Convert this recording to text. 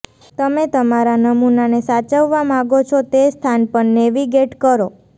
તમે તમારા નમૂનાને સાચવવા માગો છો તે સ્થાન પર નેવિગેટ કરો